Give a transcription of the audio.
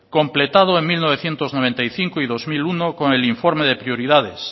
completado en mil novecientos noventa y cinco y dos mil uno con el informe de prioridades